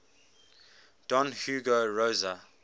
don hugo rosa